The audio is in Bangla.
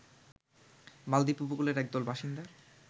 মালদ্বীপ উপকূলের একদল বাসিন্দা